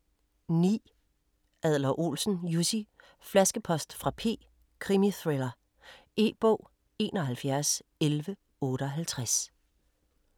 9. Adler-Olsen, Jussi: Flaskepost fra P: krimithriller E-bog 711158